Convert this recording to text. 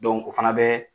o fana bɛ